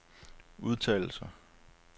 udtalelser